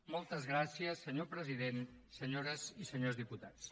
moltes gràcies senyor president senyores i senyors diputats